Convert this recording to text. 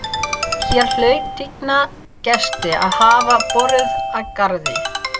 Hér hlaut tigna gesti að hafa borið að garði.